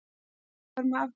Er málið þar með afgreitt?